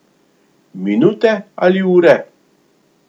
Minute ali ure?